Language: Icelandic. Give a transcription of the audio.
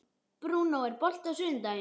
Bruno, er bolti á sunnudaginn?